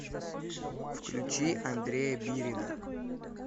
включи андрея бирина